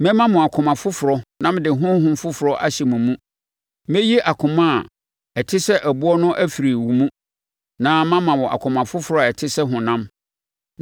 Mɛma wo akoma foforɔ na mede honhom foforɔ ahyɛ wo mu. Mɛyi akoma a ɛte sɛ ɛboɔ no afiri wo mu na mama wo akoma foforɔ a ɛte sɛ honam.